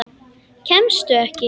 Kemstu ekki?